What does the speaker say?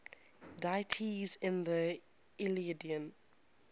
deities in the iliad